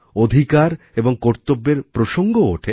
অধিকার এবং কর্তব্যের প্রসঙ্গও ওঠে